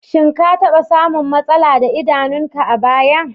Shin ka taɓa samun matsala da idanunka a baya?